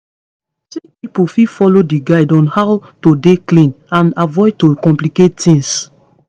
sick pipo fit follow di guide on how to dey clean and avoid to complicate tings